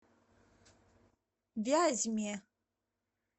вязьме